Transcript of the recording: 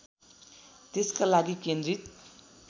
त्यस्का लागि केन्द्रित